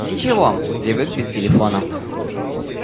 ничего привык без телефона